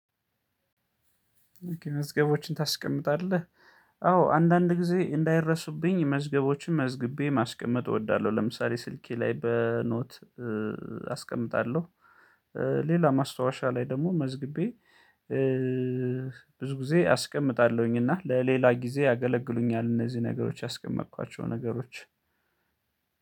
መዝገቦችን ታስቀምጣለህ? አዎ አንዳንድ ጊዜ እንዳይረሱብኝ መዝገቦችን መዝግቤ ማስቀመጥ እወዳለሁ። ለምሳሌ ስልኬ ላይ በኖት አስቀምጣለሁ። ሌላ ማስታወሻ ላይ ደግሞ መዝግቤ። ብዙ ጊዜ አስቀምጣለሁኝ እና ለሌላ ጊዜ ያገለግሉኛል። እነዚህ ነገሮች ያስቀመጥኳቸው ነገሮች።